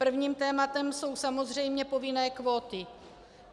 Prvním tématem jsou samozřejmě povinné kvóty.